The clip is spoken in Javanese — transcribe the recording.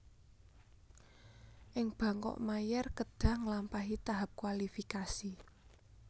Ing Bangkok Mayer kedhah ngelampahi tahap kualifikasi